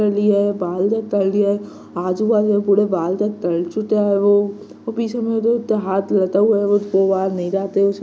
बाल दत कर दिए है आजू-बाजू में पुरे बल दत कर चुका है वो और पीछ हाथ लदा हुआ है